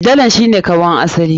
Dalan shi ne kanwan asali.